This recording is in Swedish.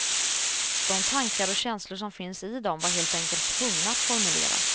De tankar och känslor som finns i dem var helt enkelt tvungna att formuleras.